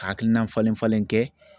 Hakilina falen-falen kɛ